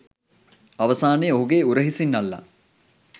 අවසානයේ ඔහුගේ උරහිසින් අල්ලා